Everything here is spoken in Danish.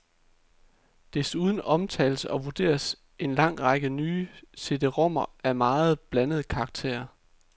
Desuden omtales og vurderes en lang række nye cd-rom'er af meget blandet karakter.